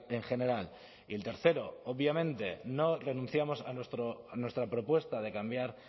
en general y el tercero obviamente no renunciamos a nuestra propuesta de cambiar